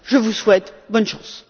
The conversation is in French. Je vous souhaite bonne chance!